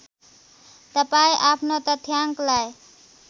तपाईँ आफ्नो तथ्याङ्कलाई